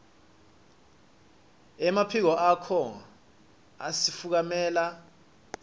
emaphiko akho asifukamela